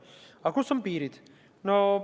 Aga kus on piirid?